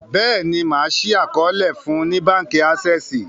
béèni ma ṣii àkọọlẹ fún ní bánkì Access.